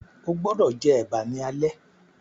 o gbódò jé eba ní alé!